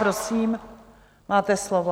Prosím, máte slovo.